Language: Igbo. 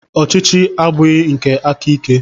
Ọchịchị abụghị nke aka ike.